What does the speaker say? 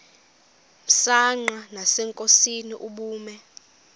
msanqa nasenkosini ubume